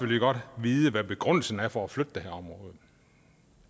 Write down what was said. vi godt vide hvad begrundelsen er for at flytte det her område